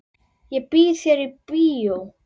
Ég býð þér í bíó.